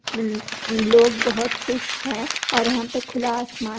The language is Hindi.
लोग बहोत खुश है और यहाँ पे खुला आसमान--